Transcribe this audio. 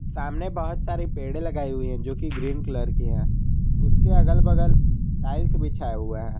सामने बहुत सारे पेड़ लगाए हुए हैं जो कि ग्रीन कलर के हैं उसके अगल बगल टाइल्स बिछाए हुआ हैं।